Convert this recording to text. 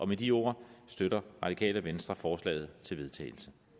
med de ord støtter radikale venstre forslaget til vedtagelse